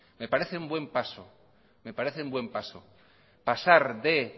me parece un buen paso pasar de